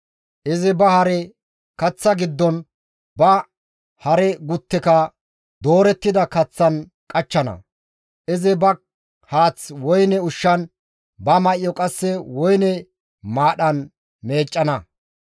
Izi ba hare kaththa giddon ba hare gutteka doorettida kaththan qachchana. Izi ba haath woyne ushshan, ba may7o qasse woyne maadhan meeccana.